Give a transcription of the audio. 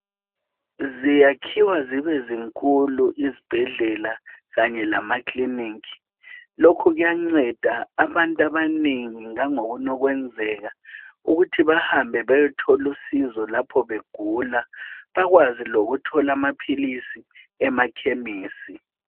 ziyakhiwa zibe zinkulu izibhedlela kanye lama clinic lokhu kuyanceda abantu abanengi langokunye kwenzeka ukuthi bahambe bayethola usizo lapho begula bakwazi lokuthola amaphilisi emakhemesi